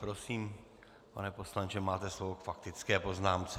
Prosím, pane poslanče, máte slovo k faktické poznámce.